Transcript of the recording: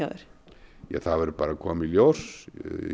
þér það verður bara að koma í ljós